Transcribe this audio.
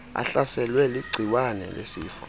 ahlaselwe ligciwane lesifo